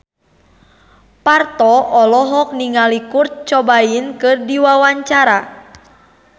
Parto olohok ningali Kurt Cobain keur diwawancara